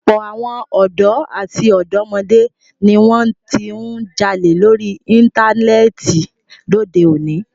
Ọ̀pọ̀ àwọn ọ̀dọ́ àti ọ̀dọ́mọdé ni wọn ti ń jalè lórí Íńtánẹ́ẹ̀tì lóde òní.